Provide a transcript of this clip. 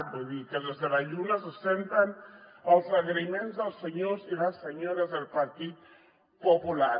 vull dir que des de la lluna se senten els agraïments als senyors i les senyores del partit popular